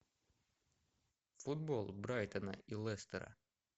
футбол брайтона и лестера